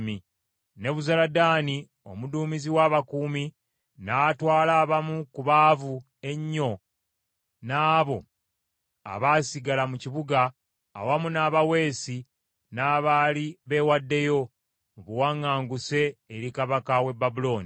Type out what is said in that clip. Nebuzaladaani omuduumizi w’abakuumi n’atwala abamu ku baavu ennyo n’abo abaasigala mu kibuga, awamu n’abaweesi n’abaali beewaddeyo, mu buwaŋŋanguse eri kabaka w’e Babulooni.